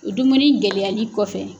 dumuni gɛlɛyali kɔfɛ.